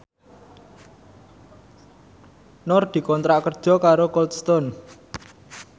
Nur dikontrak kerja karo Cold Stone